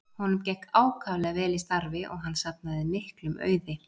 Honum gekk ákaflega vel í starfi og hann safnaði miklum auði.